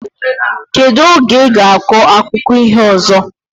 Kedu oge iga akọ akụkọ iho ozo?